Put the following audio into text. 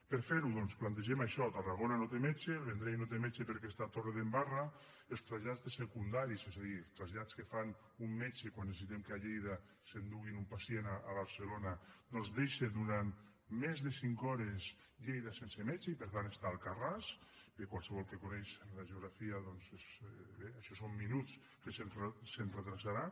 per a fer ho doncs plantegem això tarragona no té metge el vendrell no té metge perquè està a torredembarra els trasllats de secundaris és a dir trasllats que fan amb un metge quan necessitem que a lleida s’enduguin un pacient a barcelona doncs deixa durant més de cinc hores lleida sense metge i per tant està a alcarràs qualsevol que coneix la geografia doncs bé això són minuts que se’ns retardarà